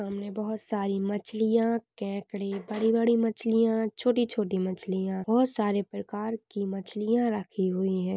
हमने बहुत सारी मछलिया केकड़ी बड़ी बड़ी मछलिया छोटी छोटी मछलिया बहुत सारे प्रकार की मछलिया रखी हुई है।